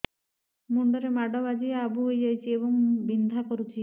ମୁଣ୍ଡ ରେ ମାଡ ବାଜି ଆବୁ ହଇଯାଇଛି ଏବଂ ବିନ୍ଧା କରୁଛି